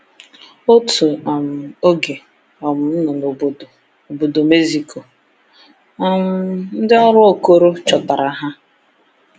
Otu um oge um nọ na Obodo Obodo Mexico, um ndị ọrụ Okoro chọtara ha.